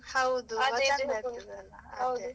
ಹೌದು .